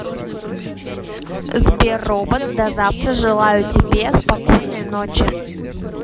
сбер робот до завтра желаю тебе спокойной ночи